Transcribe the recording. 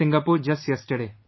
Singapore just yesterday